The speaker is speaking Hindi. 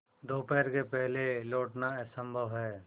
दोपहर के पहले लौटना असंभव है